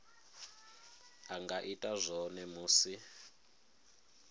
a nga ita zwone musi